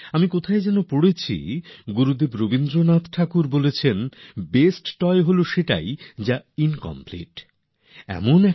আমি কোথায় যেন পড়েছিলাম যে খেলনা নিয়ে গুরুদেব রবীন্দ্রনাথ ঠাকুর বলেছিলেন বেস্ট টয় সেরা খেলনা সেটাই হয় যা নাকি ইনকমপ্লিট অসম্পূর্ণ